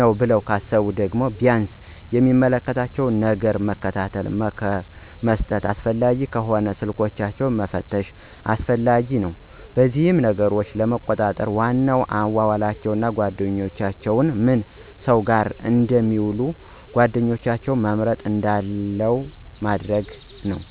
ነው ብለው ካሰቡ ደግሞ ቢያንስ የሚመለከቷቸውን ነገሮች መከታተል፣ ምክር መስጠትና አስፈላጊም ከሆነ ስልኮችንን መፈተሽም አስፈላጊ ነው። በዚህም ነገሮችን ለመቆጣጠር ዋናው አዋዋላቸውን፣ ጓደኛቸውንና ምን ሰው ጋር እንደሚውሉ እና ጓደኛቸውም መርጠው እንድውሉ ማድረግ ነው።